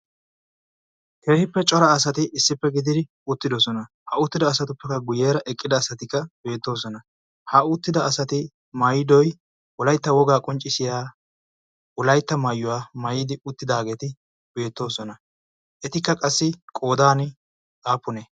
keehippe cora asati issippe gididi uttidosona ha uttida asatuppekka guyyeera eqqida asatikka beettoosona ha uttida asati maydoy wolaytta wogaa qonccisiya wolaytta maayuwaa maayidi uttidaageeti beettoosona. etikka qassi qoodan aapune?